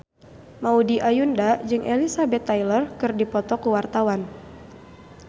Maudy Ayunda jeung Elizabeth Taylor keur dipoto ku wartawan